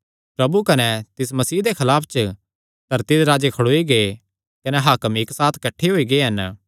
प्रभु कने तिस मसीह दे खलाफ च धरती दे राजे खड़ोई गै कने हाकम इक्क साथ किठ्ठे होई गै हन